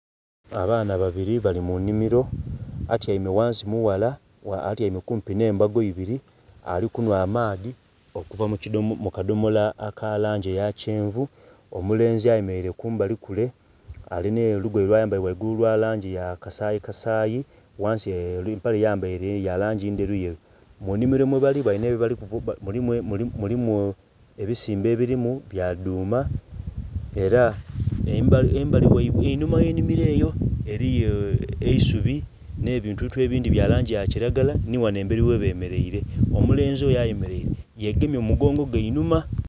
Abaana babiri bali mu nhimiro atyaime ghansi mughala atyaime kumpi nhe mbago ibiri ali kunhwa amaadhi okuva mu kadhomolo aka langi eya kyenvu. Omulenzi ayemereire kumbali kule alina olugoye lwa ayambaire ghaigulu lwa langi ya kasayi kasayi ghansi empale gya yambaire ya langi endheru yeru. Munhimiro mwe bali mulimu ebisimbe ebirimu bya dhuma era embali ghaibwe einhuma ghe nhimiro eyo eisubi nhe ebintu ebindhi bya langi kilagala nhi ghanho emberi ghe bemereire , omulenzi oyo ayemereire yegemye emugongo ghe einhuma.